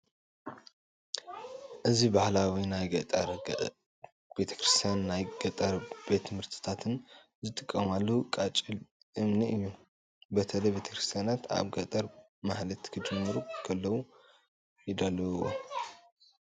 እዚ ባህላዎ ናይ ገጠር ቤተ ክርስትያናትን ናይ ገጠር ቤት ትምህርቲታትን ዝጥቀማሉ ቃጭል እምኒ እዩ፡፡ በተለይ ቤተክርስትያናትና አብ ገጠር ማህሌት ክጅምሩ ከለዉ ይድውልዎ፡፡